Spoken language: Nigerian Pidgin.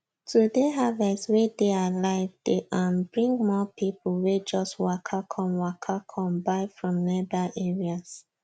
to dey harvest wey dey alive dey um bring more people wey just waka come waka come buy from nearby areas